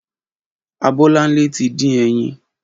Abolanle ti din ẹyin